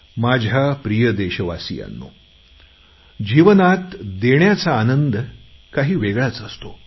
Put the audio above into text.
माझ्या प्रिय देशवासियांनो जीवनात देण्याचा आनंद काही वेगळाच असतो